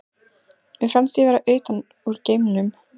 Mér fannst ég vera utan úr geimnum.